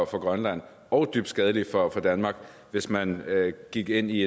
for grønland og dybt skadeligt for danmark hvis man gik ind i